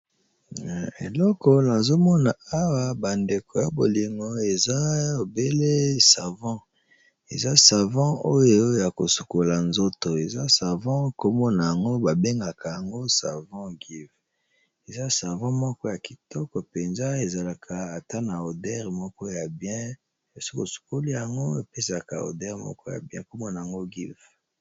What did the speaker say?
Eleko nazo mona awa bandeko ya bolingo eza obele savon, eza savon oyo ya kosukola nzoto eza savon kombo nango babengaka yango savon Giv eza savon moko ya kitoko mpenza ezalaka ata na oder moko ya bien soki osokoli yango epesaka oder moko ya bien kombo nango Giv.